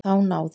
Þá náði